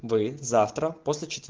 завтра